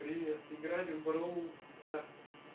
привет играли в броул старс